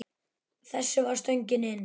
Þessi var stöngin inn.